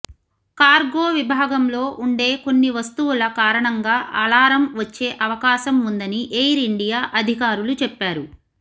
cargo విభాగంలో ఉండే కొన్ని వస్తువుల కారణంగా అలారం వచ్చే అవకాశం ఉందని ఎయిర్ ఇండియా అధికారులు చెప్పారు